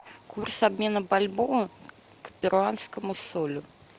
курс обмена бальбоа к перуанскому солю